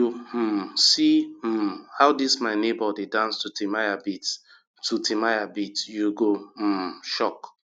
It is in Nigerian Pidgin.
if you um see um how dis my nebor dey dance to timaya beats to timaya beats you go um shock